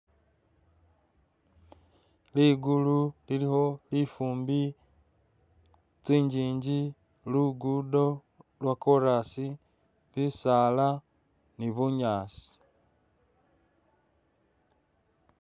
Ligulu lilikho lifumbi, tsingingi, lugudo lwa korasi, bisaala ni bunyaasi.